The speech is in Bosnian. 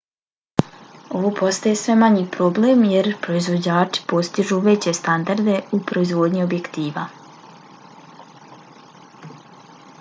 ovo postaje sve manji problem jer proizvođači postižu veće standarde u proizvodnji objektiva